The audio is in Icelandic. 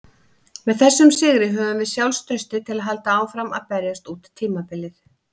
Með þessum sigri höfum við sjálfstraustið til að halda áfram að berjast út tímabilið.